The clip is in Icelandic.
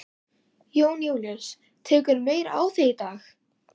Jón Júlíus: Tekurðu meira á því í dag?